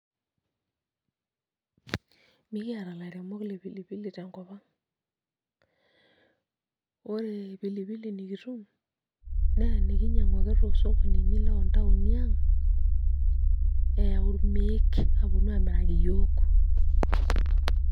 Mekiata ilaieremok le pili pili tenkop ang' , ore pili pili nikitum naa enikinyiang'u ake toosokonini loontaoni ang' eyau irmeek aaponu aamiraki iyiook.